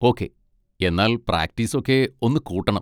Okay, എന്നാൽ practice ഒക്കെ ഒന്ന് കൂട്ടണം.